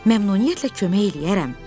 Məmnuniyyətlə kömək eləyərəm.